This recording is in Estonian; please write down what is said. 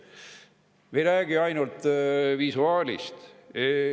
Me ei räägi ainult visuaalist.